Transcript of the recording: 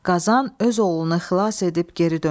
Qazan öz oğlunu xilas edib geri döndü.